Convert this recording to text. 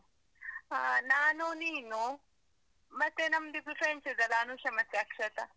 ಆ. ನಾನು, ನೀನು ಮತ್ತೆ ನಮ್ದ್ ಇಬ್ರು friends ಇದ್ರಲ್ಲ, ಅನುಷಾ ಮತ್ತೆ ಅಕ್ಷತ.